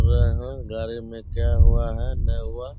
रहे है गाड़ी मे है क्या हुआ है नहीं हुआ --